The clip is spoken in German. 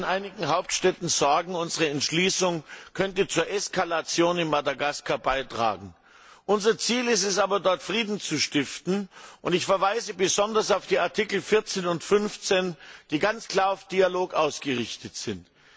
Es gibt in einigen Hauptstädten Sorgen, unsere Entschließung könnte zur Eskalation in Madagaskar beitragen. Unser Ziel ist es aber, dort Frieden zu stiften. Ich verweise besonders auf die Artikel 14 und 15, die ganz klar auf Dialog ausgerichtet sind.